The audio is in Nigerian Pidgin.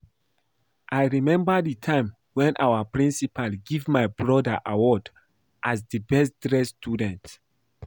I remember the time wen our principal give my broda award as the best dressed student